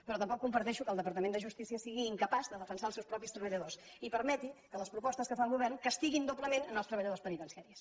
però tampoc comparteixo que del departament de justícia sigui incapaç de defensar els seus mateixos treballadors i permeti que les propostes que fa el govern castiguin doblement els treballadors penitenciaris